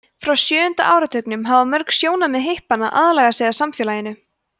frá sjöunda áratugnum hafa mörg sjónarmið hippanna aðlagað sig að samfélaginu